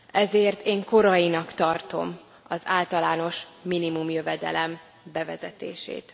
Ezért én korainak tartom az általános minimumjövedelem bevezetését.